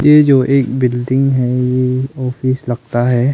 ये जो एक बिल्डिंग है ये जो ऑफिस लगता है।